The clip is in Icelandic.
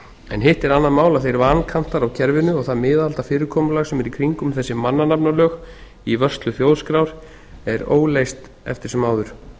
en hitt er annað mál að þeir vankantar á kerfinu og það miðaldafyrirkomulag sem er í kringum þessi mannanafnalög í vörslu þjóðskrár er óleyst eftir sem áður